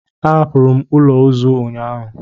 M hapụrụ ụlọ ozu ụnyaahụ.